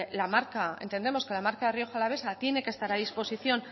entendemos que la marca rioja alavesa tiene que estar a disposición